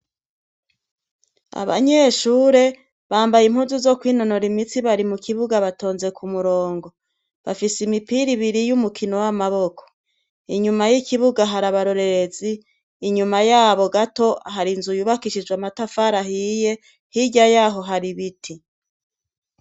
Abanyeshure bambaye impuzu zo kwinonora imitsi bari mu kibuga batonze ku murongo bafise imipira ibiri yo umukino w'amaboko inyuma y'ikibuga hari abarorerezi inyuma yabo gato hari inzu yubakishijwe amatafarahiye hirya yaho hari ibiti.